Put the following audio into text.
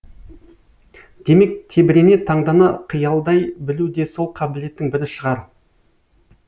демек тебірене таңдана қиялдай білу де сол қабілеттің бірі шығар